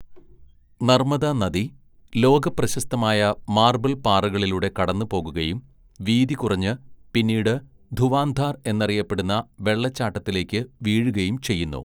നർമ്മദാ നദി, ലോകപ്രശസ്തമായ മാർബിൾ പാറകളിലൂടെ കടന്നുപോകുകയും വീതി കുറഞ്ഞ് പിന്നീട് ധുവാന്ധാര്‍ എന്നറിയപ്പെടുന്ന വെള്ളച്ചാട്ടത്തിലേക്ക് വീഴുകയും ചെയ്യുന്നു.